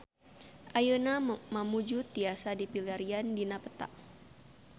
Ayeuna Mamuju tiasa dipilarian dina peta